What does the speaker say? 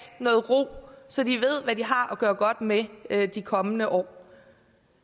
noget ro så de ved hvad de har at gøre godt med med de kommende år